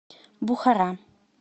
бухара